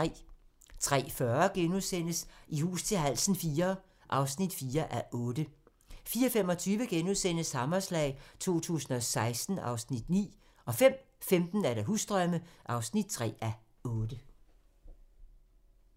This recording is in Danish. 03:40: I hus til halsen IV (4:8)* 04:25: Hammerslag 2016 (Afs. 9)* 05:15: Husdrømme (3:8)